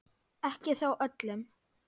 Ekki þó öllum.